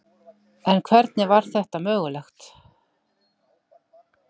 en hvernig var þetta mögulegt